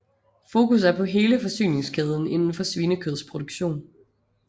Fokus er på hele forsyningskæden indenfor svinekødsproduktion